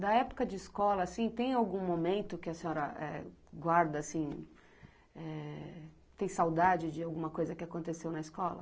Da época de escola, assim, tem algum momento que a senhora é guarda, assim, eh, tem saudade de alguma coisa que aconteceu na escola?